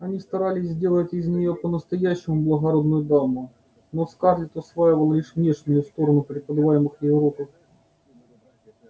они старались сделать из нее по-настоящему благородную даму но скарлетт усваивала лишь внешнюю сторону преподаваемых ей уроков